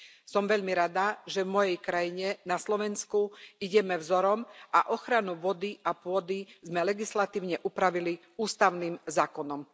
Som veľmi rada, že v mojej krajine, na Slovensku, ideme vzorom a ochranu vody a pôdy sme legislatívne upravili ústavným zákonom.